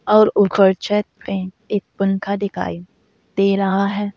और ऊपर छत पर एक पंखा दिखाएं दे रहा है।